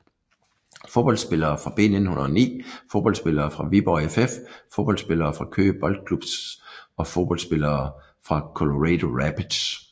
Fodboldspillere fra B1909 Fodboldspillere fra Viborg FF Fodboldspillere fra Køge Boldklub Fodboldspillere fra Colorado Rapids